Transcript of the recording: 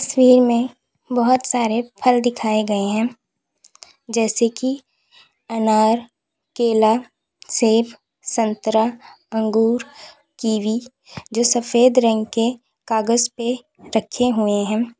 तस्वीर में बहुत सारे फल दिखाए गए हैं जैसे कि अनार केला सेब संतरा अंगूर किवी भी जो सफेद रंग के कागज पे रखे हुए हैं।